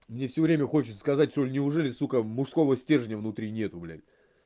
мне всё время хочется сказать что неужели сука мужского стержня внутри нет блядь